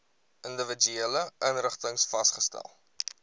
individuele inrigtings vasgestel